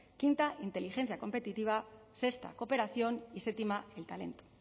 quinta inteligencia competitiva sexta cooperación y séptima el talento